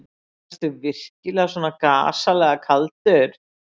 Ertu virkilega svona gasalega kaldur.